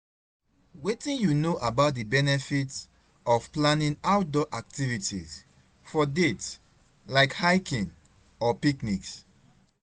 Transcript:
Wetin you know about di benefits of planning outdoor activities for dates, like hiking or picnics?